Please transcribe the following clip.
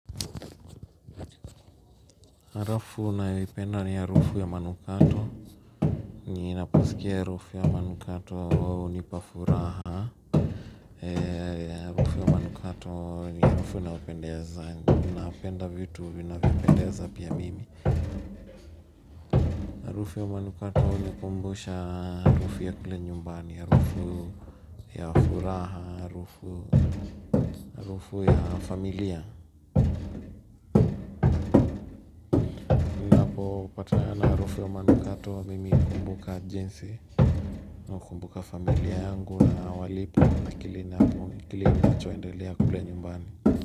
Harufu nayoipenda ni harufu ya manukato. Ninapusikia harufu ya manukato huwa hunipa furaha. Harufu ya manukato ni harufu inayopendeza. Unapenda vitu vinavyopendeza pia mimi. Harufu ya manukatoh hunikumbusha harufu ya kule nyumbani. Harufu ya furaha, harufu ya familia. Kupana na harufu ya manukato mimi nakumbuka jinsi na kumbuka familia yangu na walipo na kilini apu kilini na chwa ndelea kubla nyumbani.